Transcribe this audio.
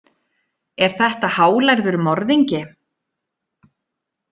Er þetta hálærður morðingi?